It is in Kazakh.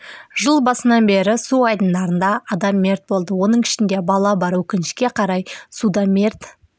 жыл басынан бері су айдындарында адам мерт болды оның ішінде бала бар өкінішке қарай суда мерт